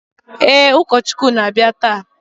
Ee, ụkọchukwu na-abịa taa